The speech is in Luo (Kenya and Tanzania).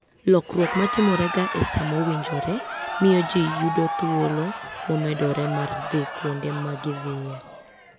Lokruok ma timorega e sa mowinjore, miyo ji yudo thuolo momedore mar dhi kuonde ma gidhiye.